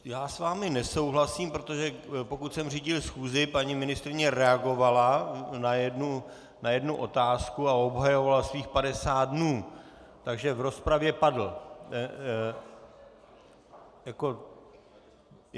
Já s vámi nesouhlasím, protože pokud jsem řídil schůzi, paní ministryně reagovala na jednu otázku a obhajovala svých 50 dnů, takže v rozpravě padl.